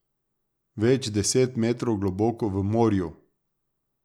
Več deset metrov globoko v morju.